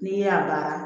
N'i y'a baara